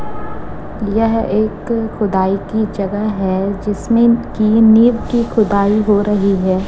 यह एक खुदाई की जगह है जिसमें की नींव की खुदाई हो रही है।